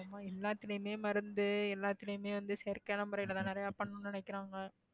ஆமாம எல்லாத்துலயுமே மருந்து எல்லாத்துலயுமே வந்து செயற்கையான முறையிலதான் நிறைய பண்ணணும்னு நினைக்கிறாங்க